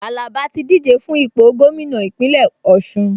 Àlàbá ti díje fún ipò gómìnà Ìpínlẹ̀ Ọ̀ṣun